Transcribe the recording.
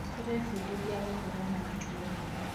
Tũrebundithia gũkorwo na mĩtugo wega.